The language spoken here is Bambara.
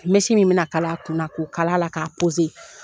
Mɛsi min bɛna kala a kun k'o kal'a la k'a